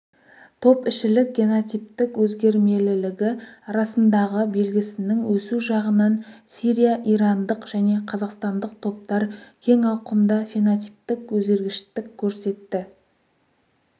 топ ішілік генотиптік өзгермелілігі арасындағы белгісінің өсу жағынан сирия-ирандық және қазақстандық топтар кең ауқымда фенотиптік өзгергіштік көрсетті